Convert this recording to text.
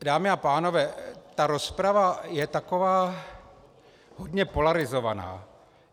Dámy a pánové, ta rozprava je taková hodně polarizovaná.